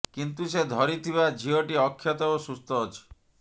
କିନ୍ତୁ ସେ ଧରିଥିବା ଝିଅଟି ଅକ୍ଷତ ଓ ସୁସ୍ଥ ଅଛି